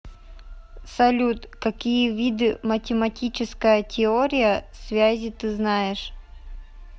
салют какие виды математическая теория связи ты знаешь